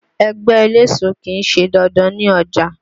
Ẹgbẹ́ eléso kì í ṣe dandan ní ọjà.